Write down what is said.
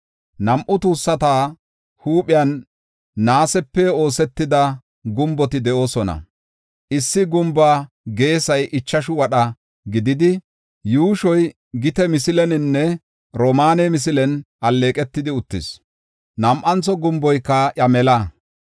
Nam7u tuussata huuphiyan naasepe oosetida gumboti de7oosona. Issi gumbuwa geesay ichashu wadha gididi, yuushoy gite misileninne oromaane misilen alleeqetidi uttis. Nam7antho gumboyka iya mela.